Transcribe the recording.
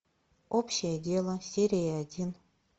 общее дело серия один